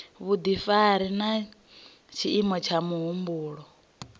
vhudifari na tshiimo tsha muhumbulo